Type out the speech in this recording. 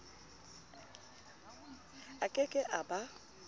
a ke ke a ba